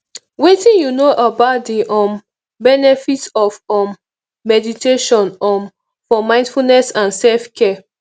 wetin you know about di um benefits of um meditation um for mindfulness and selfcare